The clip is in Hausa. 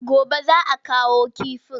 Gobe za a kawo kifin.